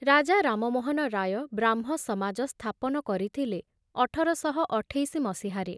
ରାଜା ରାମମୋହନ ରାୟ ବ୍ରାହ୍ମସମାଜ ସ୍ଥାପନ କରିଥିଲେ ଅଠର ଶହ ଅଠେଇଶ ମସିହାରେ।